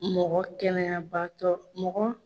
Mɔgɔ kɛnɛya baatɔ mɔgɔ